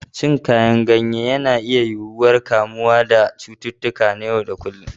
Cin Kayan yana rage yiwuwar ƙamuwa da cututtuka na kullum.